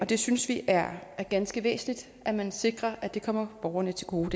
vi synes det er ganske væsentligt at man sikrer at det her kommer borgerne til gode